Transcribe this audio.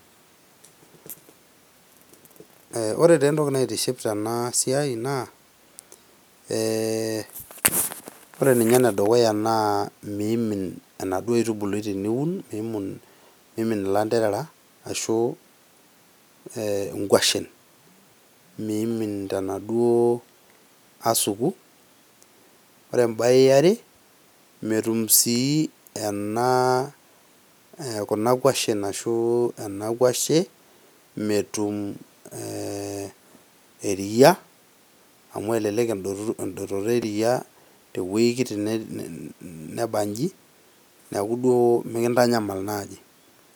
Ore taa entoki naitiship tena siai naa, eeh ore ninye enedukuya naa meimin anaduo aitubului teniun meimin ilanterera ashu inkwashen ,meimin tenaduo asuku ore sii embae eare metun kuna kwashen ashua na kwashe metum eriaa amu elelek endototo eriaa teweji kiti nebanji neeku duo mikintanyamal naji.